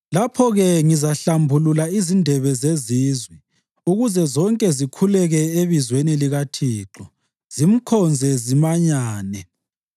“Lapho-ke ngizahlambulula izindebe zezizwe, ukuze zonke zikhuleke ebizweni likaThixo zimkhonze zimanyane.